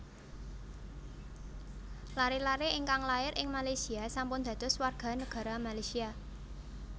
Lare lare ingkang lair ing Malaysia sampun dados warga negara Malaysia